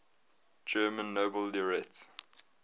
german nobel laureates